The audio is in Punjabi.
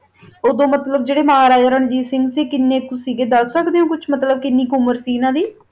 ਓਦੋ ਮਤਲਬ ਮਹਾਰਾਜਾ ਰਣਜੀਤ ਸਿੰਘ ਸੀ ਜਰਾ ਓਹੋ ਕੀਨਾ ਕੋ ਸੀ ਓਨਾ ਦੀ ਉਮੇਰ ਕੀਨੀ ਕੁ ਆ ਦਸ ਸਕਦਾ ਜਾ